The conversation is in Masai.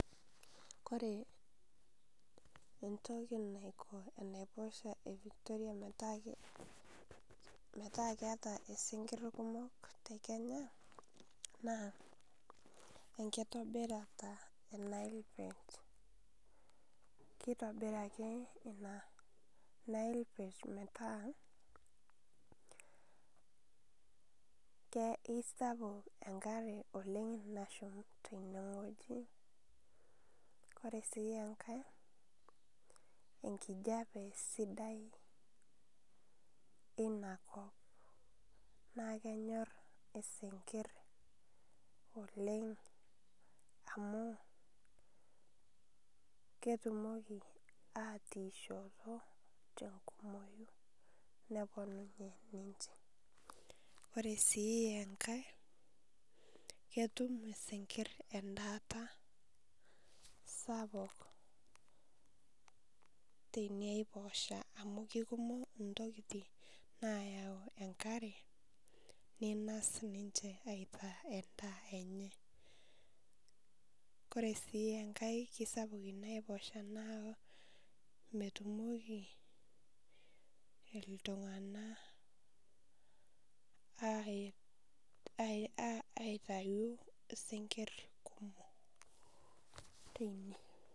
Kore entokii naikoo enaiposha e Victoria metaa metaa keeta sinkir kumok naa enkitobirata e Nile perch, keitobirata enia Nile perch petaa keisapuk enkaare oleng nashumi tene ng'oji. Kore sii enkaii enkijapee sidai ena nkoop naa kenyoor esinkir oleng amu ketuumoko atiishoto te kumooyu neponuni ninchee. Ore sii enkaai ketuum esinkir endaata sapuk tene eposha amu kekumook ntokiti nayau enkaare neinos ninchee aitaa endaa enye. Kore sii enkai kesapuk enia eposha naa metumooki ltung'ana aitayu sinkir kumook tenia.